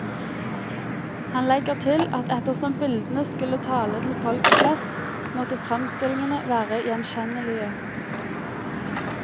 Han legger til at ettersom bildene skulle tale til folk flest, måtte fremstillingene være gjenkjennelige.